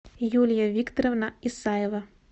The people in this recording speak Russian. юлия викторовна исаева